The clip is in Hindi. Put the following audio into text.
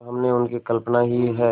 पर हमने उनकी कल्पना ही है